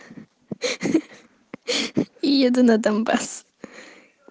ха-ха еду на донбасс